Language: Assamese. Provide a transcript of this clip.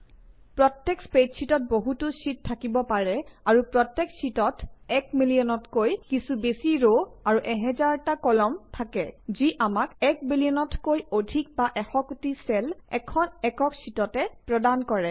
প্ৰত্যেক স্প্ৰেডশ্বিটত বহুতো শ্বিট থাকিব পাৰে আৰু প্ৰত্যেক শ্বিটত এক মিলিয়নতকৈ কিছু বেছি ৰ আৰু এহেজাৰটা কলাম থাকে যি আমাক এক বিলিয়নতকৈ অধিক বা এশ কোটি চেল এখন একক শ্বিটতে প্ৰদান কৰে